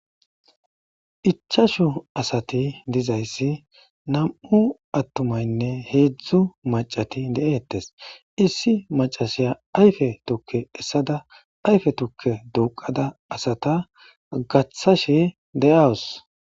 Ichashu asati dizayssi nam'u atumaynne iHezhzhu macati de7ettes issi maccasiya ayfe tuuke essada ayfe tuuke duqqada asata gaththashe de'awusu.